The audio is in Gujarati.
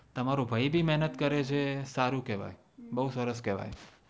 તમારો ભાઈ ભી મહેનત કરે છે સારું કેવાઈ બવ સરસ કેવાઈ